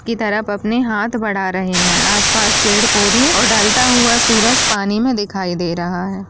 --की तरफ अपने हाथ बढ़ा रहे हैं आस-पास पेड़-पौधे और ढलता हुआ सूरज पानी में दिखाई दे रहा है।